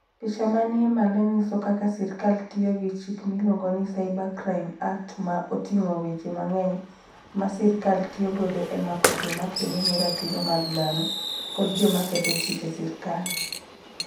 Picha manie malo nyiso kaka sirkal tiyo gi chik miluongo ni Cybercrime Act ma oting'o weche mang'eny ma sirkal tiyo godo e mako joma kedo ne ratiro mag dhano kod joma ketho chike sirkal.